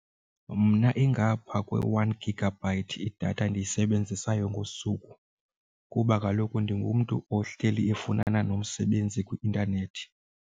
Mna ingapha kwe-one gigabyte idatha endiyisebenzisayo ngosuku kuba kaloku ndingumntu ohleli efunana nomsebenzi kwi-intanethi.